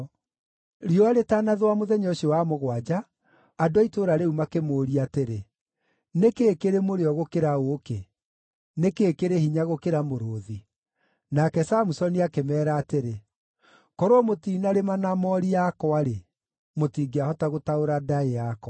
Riũa rĩtanathũa mũthenya ũcio wa mũgwanja, andũ a itũũra rĩu makĩmũũria atĩrĩ, “Nĩ kĩĩ kĩrĩ mũrĩo gũkĩra ũũkĩ? Nĩ kĩĩ kĩrĩ hinya gũkĩra mũrũũthi?” Nake Samusoni akĩmeera atĩrĩ, “Korwo mũtinarĩma na moori yakwa-rĩ, mũtingĩahota gũtaũra ndaĩ yakwa.”